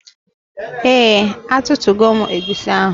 Ee atụtugo m egwusi ahụ.